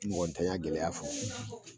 Mɔgɔ tanyan gɛlɛya fɔ